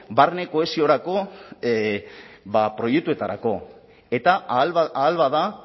barne kohesiorako proiektuetarako eta ahal bada